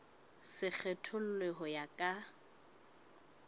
se kgethollwe ho ya ka